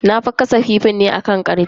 Na gasa kifin ne akan karfe.